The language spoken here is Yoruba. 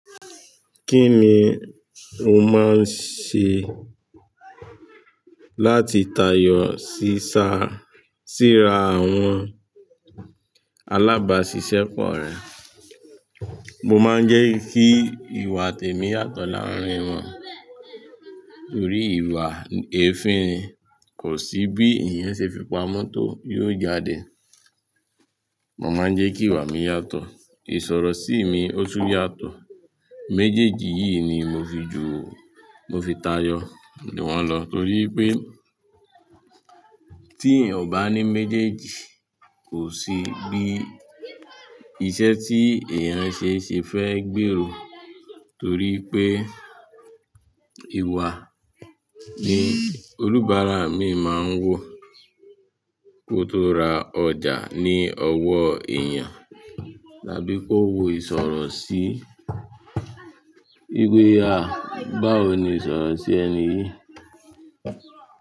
Kí ni o máa ń ṣe láti tayọ sí sa, sí ra àwọn alábàáṣiṣẹ́ pọ̀ rẹ? Mo máa ń jẹ́ kí ìwà tèmi yàtọ̀ láàárín wọn, torí ìwà èéfín kò sí bí èèyàn ṣe fi pa mọ́tò, yóò jáde. Mo máa ń jẹ́ kí ìwà mi yàtọ̀, ìsọ̀rọ̀ sí mi ó tún yàtọ̀. Méjèèjì yìí ni mo fi ju, mo fi tayọ̀ juwọ́n lọ torí pé tí èèyàn ò bá ní méjèèjì kò sí bí iṣẹ́ tí èèyàn ṣe ṣe fẹ́ gbèrò torí pé ìwà ni olúbàráà mi máa ń wò kó tó ra ọjà ní ọwọ́ èèyàn, tàbí kó wo ìsọ̀rọ̀ sí, "ìwé ya, báwo ni ìsọ̀rọ̀ sí ẹni yìí?"